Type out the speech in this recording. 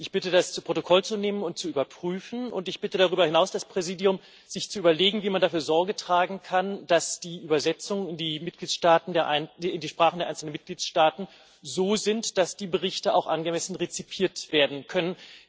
Ich bitte das zu Protokoll zu nehmen und zu überprüfen, und ich bitte darüber hinaus das Präsidium, sich zu überlegen, wie man dafür Sorge tragen kann, dass die Übersetzungen in die Sprachen der einzelnen Mitgliedstaaten so sind, dass die Berichte auch angemessen rezipiert werden können.